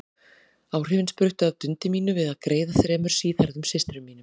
Áhrifin spruttu af dundi mínu við að greiða þremur síðhærðum systrum mínum.